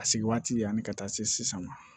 A se waati yanni ka taa se sisan ma